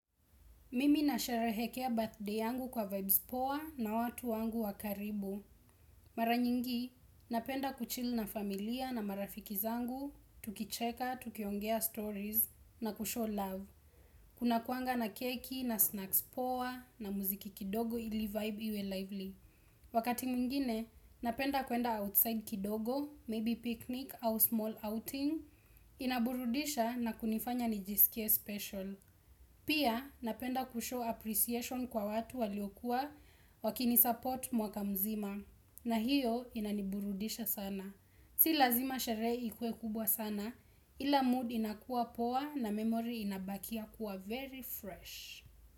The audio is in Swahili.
Mimi na sherehekea birthday yangu kwa vibes poa na watu wangu wakaribu. Mara nyingi, napenda kuchill na familia na marafiki zangu, tukicheka, tukiongea stories na kushow love. Kuna kuanga na keki na snacks poa na muziki kidogo ili vibe iwe lively. Wakati mwingine, napenda kuenda outside kidogo, maybe picnic au small outing, inaburudisha na kunifanya nijisikie special. Pia napenda kushow appreciation kwa watu waliokuwa waki ni support mwaka mzima na hiyo inaniburudisha sana. Si lazima sherehe ikue kubwa sana ila mood inakuwa poa na memory inabakia kuwa very fresh.